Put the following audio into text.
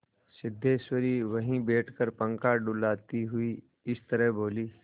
सिद्धेश्वरी वहीं बैठकर पंखा डुलाती हुई इस तरह बोली